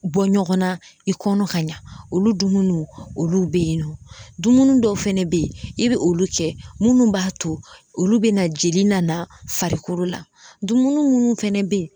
Bɔ ɲɔgɔn na i kɔnɔ ka ɲa olu dumuniw olu be yen nɔ dumunu dɔw fana be yen i be olu kɛ munnu b'a to olu be na jeli nana farikolo la dumunu munnu fɛnɛ be yen